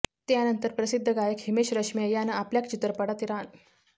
त्यानंतर प्रसिद्ध गायक हिमेश रेशमीया यानं आपल्या चित्रपटात राणू मंडल यांना गाणं गाण्याची संधी दिली